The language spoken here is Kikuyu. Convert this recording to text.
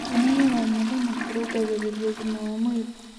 Kwĩnogora oh mũthenya kũrũngagĩrĩrĩa ũgima wa mwĩrĩ